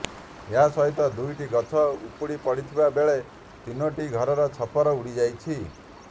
ଏହା ସହିତ ଦୁଇଟି ଗଛ ଉପୁଡ଼ି ପଡ଼ିଥିବା ବେଳେ ତିନିଟି ଘରର ଛପର ଉଡ଼ିଯାଇଛି